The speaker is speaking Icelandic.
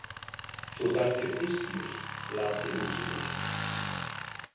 Þú ert algjör hyskíus latilúsíbus.